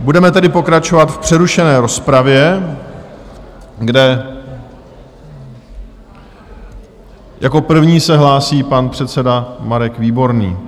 Budeme tedy pokračovat v přerušené rozpravě, kde jako první se hlásí pan předseda Marek Výborný.